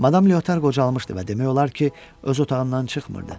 Madam Leotar qocalmışdı və demək olar ki, öz otağından çıxmırdı.